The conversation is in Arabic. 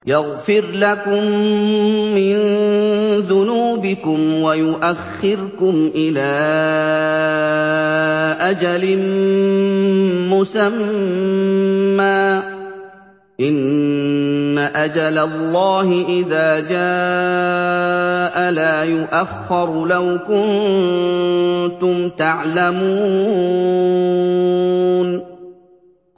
يَغْفِرْ لَكُم مِّن ذُنُوبِكُمْ وَيُؤَخِّرْكُمْ إِلَىٰ أَجَلٍ مُّسَمًّى ۚ إِنَّ أَجَلَ اللَّهِ إِذَا جَاءَ لَا يُؤَخَّرُ ۖ لَوْ كُنتُمْ تَعْلَمُونَ